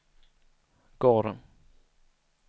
gården